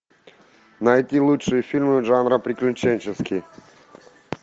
найти лучшие фильмы жанра приключенческий